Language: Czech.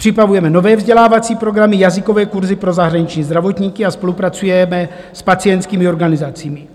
Připravujeme nové vzdělávací programy, jazykové kurzy pro zahraniční zdravotníky a spolupracujeme s pacientskými organizacemi.